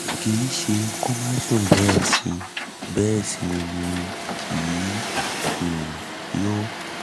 kì í ṣẹ kó má sùn bẹ́ẹ̀ sì bẹ́ẹ̀ sì ni kì í um yó